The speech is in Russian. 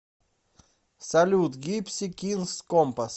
салют гипси кингс компас